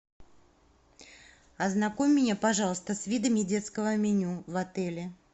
ознакомь меня пожалуйста с видами детского меню в отеле